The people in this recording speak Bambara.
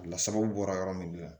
Lasababu bɔra yɔrɔ min na